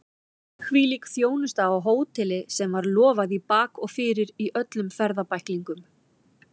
Hvílík þjónusta á hóteli sem var lofað í bak og fyrir í öllum ferðabæklingum!